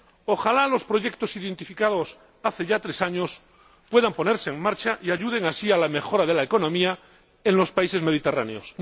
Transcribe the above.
Ojalá los proyectos identificados hace ya tres años puedan ponerse en marcha y ayuden así a la mejora de la economía en los países mediterráneos.